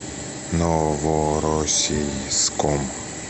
новороссийском